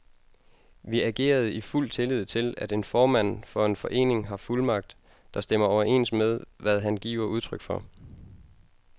Vi agerede i fuld tillid til, at en formand for en forening har fuldmagt, der stemmer overens med, hvad han giver udtryk for.